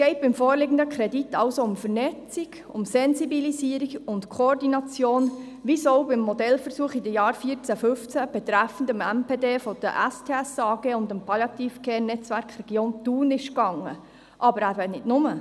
Beim vorliegenden Kredit geht es also um Vernetzung, um Sensibilisierung und Koordination, um dasselbe wie beim Modellversuch von 2014–2015 betreffend das MDP der Spital Simmental-ThunSaanenland AG (Spital STS AG) und dem Palliative-Care-Netzwerk der Region Thun – aber eben nicht nur.